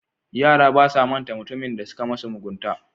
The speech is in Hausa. Yara basa manta mutumin da suka musu mugunta.